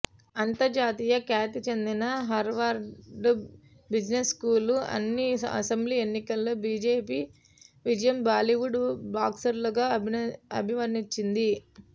అంతర్జాతీయ ఖ్యాతిచెందిన Harvard business school అన్ని అసెంబ్లీ ఎన్నికల్లో బిజెపి విజయం బాలివుడ్ బ్లాక్బస్టర్గా అభివర్ణించింది